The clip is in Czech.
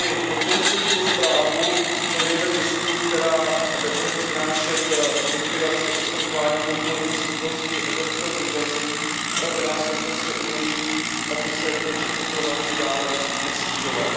Podpořil jsem tuto zprávu, hledejme cestu, která nebude přinášet likvidaci, oslabování konkurenceschopnosti evropského zemědělství, ale která současně umožní, aby se počet opylovačů dále nesnižoval.